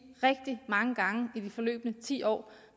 rigtig mange gange i de forløbne ti år